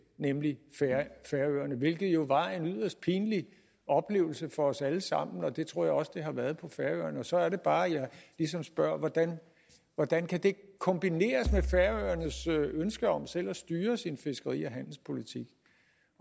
nemlig færøerne hvilket jo var en yderst pinlig oplevelse for os alle sammen og det tror jeg også at det har været på færøerne så er det bare jeg ligesom spørger hvordan hvordan kan det kombineres med færøernes ønske om selv at styre sin fiskeri og handelspolitik